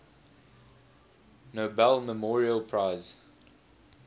nobel memorial prize